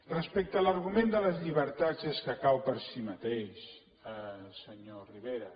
respecte a l’argument de les llibertats és que cau per si mateix senyor rivera